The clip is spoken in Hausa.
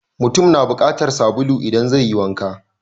Mutum na bukatar sabulu idan zai yi wanka.